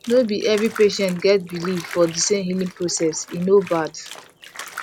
no be every patients get believe for the same healing process e no bad